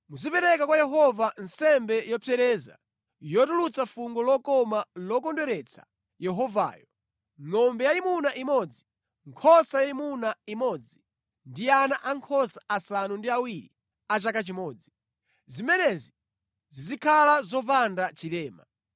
Muzipereka kwa Yehova nsembe yopsereza, yotulutsa fungo lokoma lokondweretsa Yehovayo; ngʼombe yayimuna imodzi, nkhosa yayimuna imodzi ndi ana ankhosa asanu ndi awiri a chaka chimodzi. Zimenezi zizikhala zopanda chilema.